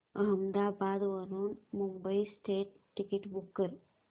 अहमदाबाद वरून Mumbai central ticket book कर